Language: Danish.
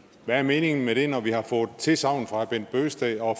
hvad er meningen med det når vi har fået tilsagn fra herre bent bøgsted og